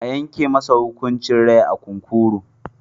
A yanke masa hukuncin rai a kunkuru.